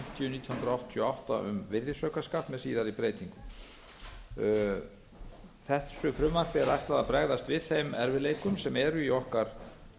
hundruð áttatíu og átta um virðisaukaskatt með síðari breytingum þessu frumvarpi er ætlað að bregðast við þeim erfiðleikum fyrirtækja sem eru í okkar